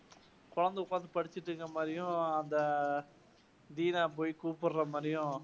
குழந்தை உக்காந்து படிச்சுட்டு இருக்க மாதிரியும், அந்த டீனா போய் கூப்பிடற மாதிரியும்